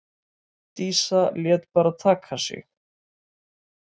Dísa lét bara taka sig.